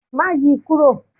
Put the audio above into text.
Má yi kúrò.!